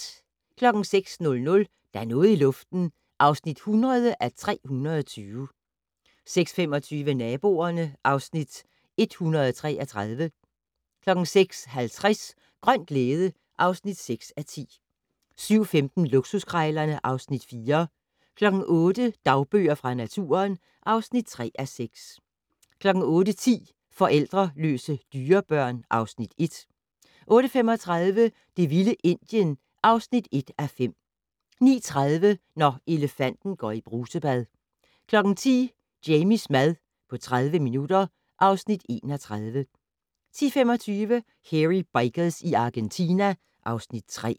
06:00: Der er noget i luften (100:320) 06:25: Naboerne (Afs. 133) 06:50: Grøn glæde (6:10) 07:15: Luksuskrejlerne (Afs. 4) 08:00: Dagbøger fra naturen (3:6) 08:10: Forældreløse dyrebørn (Afs. 1) 08:35: Det vilde Indien (1:5) 09:30: Når elefanten går i brusebad 10:00: Jamies mad på 30 minutter (Afs. 31) 10:25: Hairy Bikers i Argentina (Afs. 3)